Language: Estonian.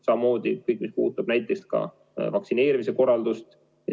Samamoodi puudutab see ka vaktsineerimise korraldust.